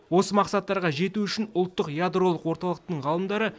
осы мақсаттарға жету үшін ұлттық ядролық орталықтың ғалымдары